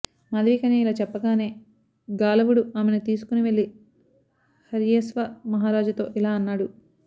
మాధవీకన్య ఇలా చెప్పగానే గాలవుడు ఆమెను తీసుకొని వెళ్ళి హర్యశ్వ మహారాజుతో ఇలా అన్నాడు